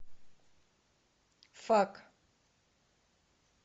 фак